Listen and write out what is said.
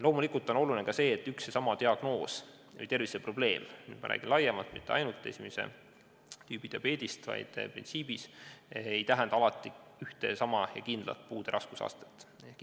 Loomulikult on oluline ka see, et üks ja sama diagnoos või terviseprobleem – kui me räägime laiemalt, mitte ainult esimese tüübi diabeedist, vaid printsiibist – ei tähenda alati ühte ja sama puude raskusastet.